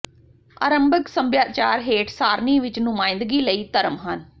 ਆਰੰਭਿਕ ਸਭਿਆਚਾਰ ਹੇਠ ਸਾਰਣੀ ਵਿੱਚ ਨੁਮਾਇੰਦਗੀ ਕਈ ਧਰਮ ਹਨ